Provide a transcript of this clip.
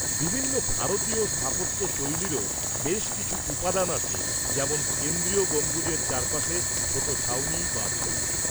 -বিভিন্ন ভারতীয় স্থাপত্যশৈলীরও বেশ কিছু উপাদান আছে, যেমন কেন্দ্রীয় গম্বুজের চারপাশে ছোট ছাউনি বা ছত্রি।